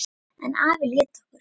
En afi lét okkur